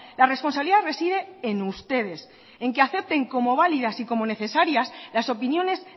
la responsabilidad reside en ustedes en que acepten como válidas y como necesarias las opiniones